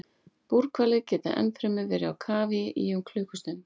Búrhvalir geta ennfremur verið í kafi í um klukkustund.